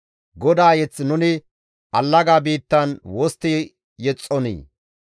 GODAA mazamure nuni allaga biittan wostti yexxonii?